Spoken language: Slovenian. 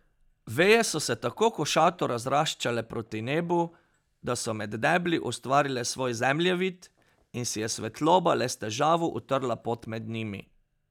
Veje so se tako košato razraščale proti nebu, da so med debli ustvarile svoj zemljevid in si je svetloba le s težavo utrla pot med njimi.